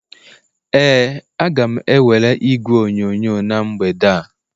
Ee, a ga m ewere igwe onyonyo na mgbede a